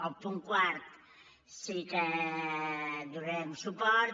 al punt quart sí que hi donarem suport